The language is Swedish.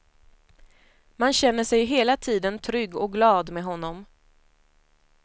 Man känner sig hela tiden trygg och glad med honom.